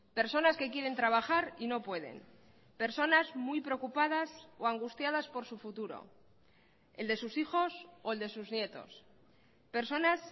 personas que quieren trabajar y no pueden personas muy preocupadas o angustiadas por su futuro el de sus hijos o el de sus nietos personas